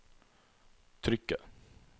trykket